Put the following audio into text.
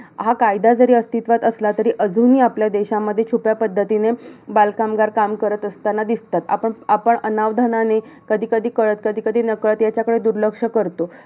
हा कायदा जरी अस्तित्वात असला तरी, अजूनही आपल्या देशामध्ये, छुप्या पद्धतीने बालकामगार काम करत असतांना दिसत असतात. आपण अनवधानाने कधी कधी कळत कधी कधी नकळत याच्याकडे दुर्लक्ष करतो.